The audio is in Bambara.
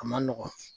A man nɔgɔn